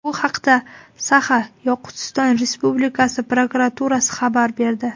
Bu haqda Saxa-Yoqutiston Respublikasi prokuraturasi xabar berdi .